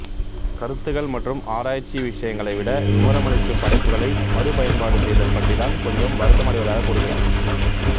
கருத்துகள் மற்றும் ஆராய்ச்சி விஷயங்களை விட விவரமளிக்கும் படைப்புகளை மறுபயன்பாடு செய்தல்பற்றி தான் கொஞ்சம் வருத்தம் அடைவதாக கூறுகிறார்